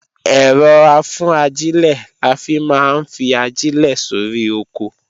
Ẹ̀rọ-afúnajílẹ̀ la fi máa ń fi ajílẹ̀ sóri oko